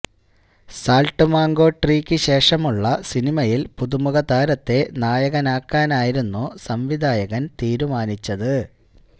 salt Mango ട്രീക്ക് ശേഷമുള്ള സിനിമയില് പുതുമുഖ താരത്തെ നായകനാക്കാനായിരുന്നു സംവിധായകന് തീരുമാനിച്ചത്